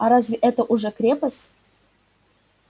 а разве это уже крепость